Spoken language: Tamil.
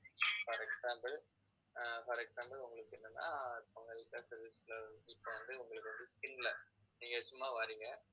for example ah for example உங்களுக்கு என்னன்னா உங்களுக்கு வந்து skin ல நீங்க சும்மா வர்றீங்க